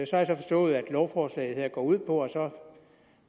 så har jeg forstået at lovforslaget går ud på at